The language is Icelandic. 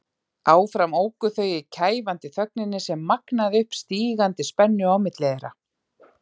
Áfram óku þau í kæfandi þögninni sem magnaði upp stígandi spennu á milli þeirra.